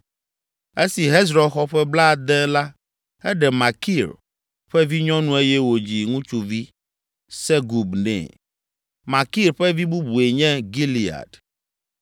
Esi Hezron xɔ ƒe blaade la eɖe Makir ƒe vinyɔnu eye wòdzi ŋutsuvi, Segub nɛ. Makir ƒe vi bubue nye Gilead.